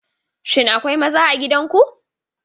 Shin akwai maza a gidan ku?